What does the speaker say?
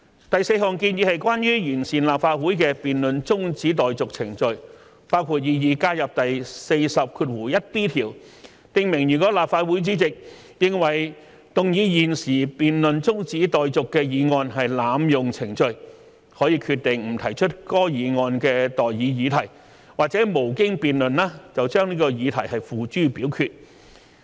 第四項建議是關於完善立法會的辯論中止待續程序，包括擬議加入第40條，訂明如立法會主席認為動議現即將辯論中止待續的議案是濫用程序，可決定不提出該議案的待議議題或無經辯論而把議題付諸表決。